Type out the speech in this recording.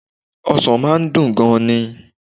Ọsàn máa n dùn gan ni